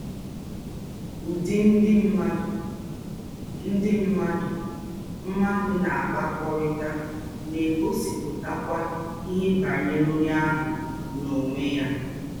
Ụ́dị̀ ndị̀ mmádụ̀ ndị̀ mmádụ̀ mmádụ̀ na-àkpakọ́rịtà na-ègosípụ̀tàkwá íhè bànyèrè ònyé áhụ̀ n’ònwé yà.